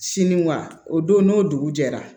Siniwa o don n'o dugu jɛra